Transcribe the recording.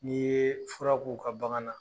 N'i yee fura k'u ka bagan na